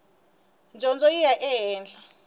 dyondzo yi ya ehenhla